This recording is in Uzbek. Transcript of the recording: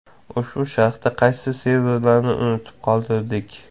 Ushbu sharhda qaysi servislarni unutib qoldirdik?